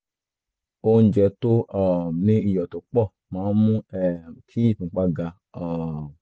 ní ti òkúta um inú ìfun um ni ó sábà máa ń gba pé kéèyàn ṣe iṣẹ́ abẹ